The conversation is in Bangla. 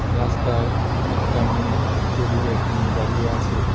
রাস্তায় একটা মেয়ে ট্রলি ব্যাগ নিয়ে দাঁড়িয়ে আছে।